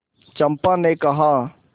चंपा ने कहा